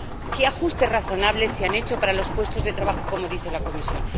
¿Qué ajustes razonables se han hecho para los puestos de trabajo, como dice la Comisión?